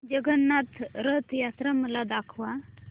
जगन्नाथ रथ यात्रा मला दाखवा